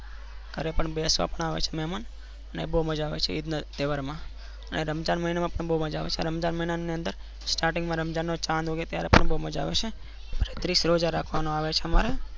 અને ઘર ના બેસવા આવે છે મહેમાન અને બૌમઝા અવે છે. ઈદ ના તહેવાર માં અને રમઝાન મહિના માં પણ બૌ મઝા આવે છે. starting માં રમઝાન નો ચંદ ઉગે ત્યારે બાઉ જ મઝા આવે છે strike રોઝા રાખવા માં આવે છે. અમારે